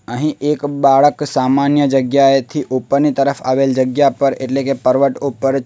અહીં એક બાળક સામાન્ય જગ્યાએથી ઉપરની તરફ આવેલ જગ્યા પર એટલે કે પર્વત ઉપર--